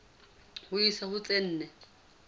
ho isa ho tse nne